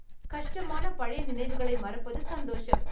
கஷ்டமான பழைய நினைவுகளை மறப்பது சந்தோஷம்.